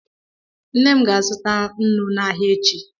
Nne m ga-azụta nnu n'ahịa echi.